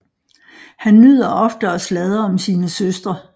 Han nyder ofte at sladre om sine søstre